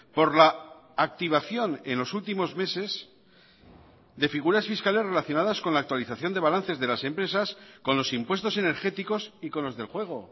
por la activación en los últimos meses de figuras fiscales relacionadas con la actualización de balances de las empresas con los impuestos energéticos y con los del juego